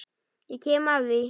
Ég kem að því.